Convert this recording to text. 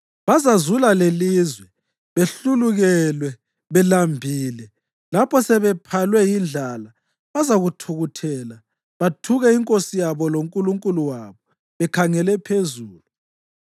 Bazazula lelizwe behlulukelwe, belambile. Lapho sebephalwe yindlala, bazathukuthela, bathuke inkosi yabo loNkulunkulu wabo bekhangele phezulu.